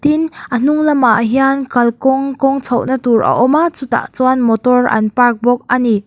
tin a hnung lamah hian kalkawng kawng chhoh na tur a awma chutah chuan motor an park bawk a ni.